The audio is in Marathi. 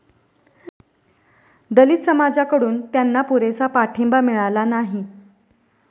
दलित समाजाकडून त्यांना पुरेसा पाठिंबा मिळाला नाही.